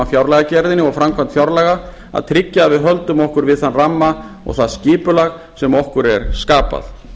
fjárlagagerðinni og framkvæmd fjárlaga að tryggja að við höldum okkur við þann ramma og það skipulag sem okkur er skapað